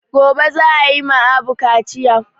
Gobe za ayi ma Abu kaciya